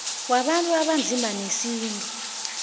wabantu abanzima newesintu